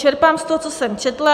Čerpám z toho, co jsem četla.